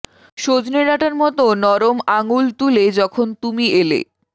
সজনে ডাটার মত নরম আঙুল তুলে যখন তুমি এলে